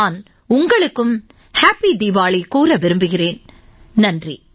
நான் உங்களுக்கும் தீபாவளி வாழ்த்து கூற விரும்புகிறேன் நன்றி